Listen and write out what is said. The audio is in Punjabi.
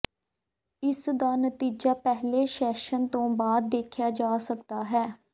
ਇਸ ਦਾ ਨਤੀਜਾ ਪਹਿਲੇ ਸੈਸ਼ਨ ਦੇ ਬਾਅਦ ਦੇਖਿਆ ਜਾ ਸਕਦਾ ਹੈ